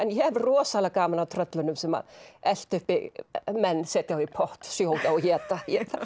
ég hef rosalega gaman af tröllunum sem að elta uppi menn setja þá í pott sjóða og éta